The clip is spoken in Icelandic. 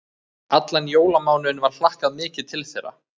Allan jólamánuðinn var hlakkað mikið til þeirra.